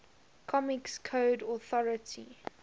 comics code authority